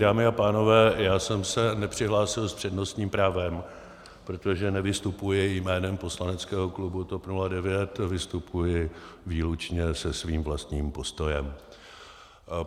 Dámy a pánové, já jsem se nepřihlásil s přednostním právem, protože nevystupuji jménem poslaneckého klubu TOP 09, vystupuji výlučně se svým vlastním postojem.